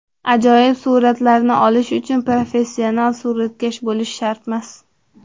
Ajoyib suratlarni olish uchun professional suratkash bo‘lish shartmas.